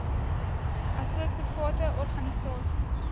asook private organisasies